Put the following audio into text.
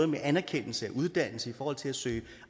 med anerkendelse af uddannelse i forhold til at søge